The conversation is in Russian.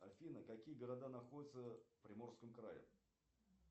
афина какие города находятся в приморском крае